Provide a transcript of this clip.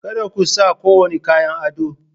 Kada ku sa kowane kayan ado!